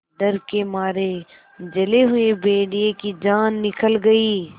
डर के मारे जले हुए भेड़िए की जान निकल गई